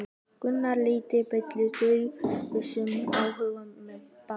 Gunnar Atli: Deilir þú þessum áhyggjum með Páli?